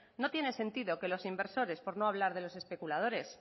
no tiene sentido que los inversores por no hablar de los especuladores